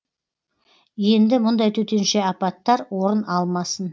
енді мұндай төтенше апаттар орын алмасын